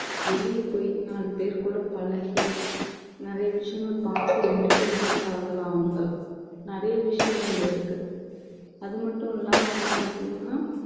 வெளிய போய் நாலு பேர் கூட பழகி நிறைய விஷயங்கள் பார்த்து entertainment ஆகலாம் அவங்க நிறைய விஷயங்கள் இருக்கு அது மட்டும் இல்லாம வந்து பாத்தீங்கன்னா